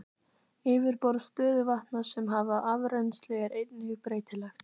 Yfirborð stöðuvatna sem hafa afrennsli er einnig breytilegt.